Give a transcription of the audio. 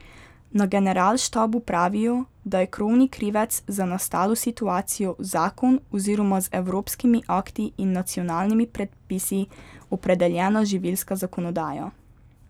Na generalštabu pravijo, da je krovni krivec za nastalo situacijo zakon oziroma z evropskimi akti in nacionalnimi predpisi opredeljena živilska zakonodaja.